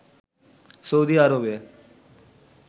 Saudi আরবে